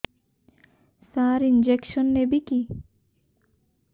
ସାର injection ନେବିକି